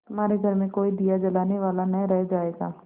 तुम्हारे घर में कोई दिया जलाने वाला न रह जायगा